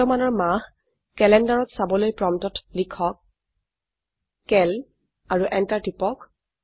বৰ্তমানৰ মাহ ক্যালেন্ডাৰত চাবলৈ প্ৰম্পটত লিখক চিএএল আৰু এন্টাৰ টিপক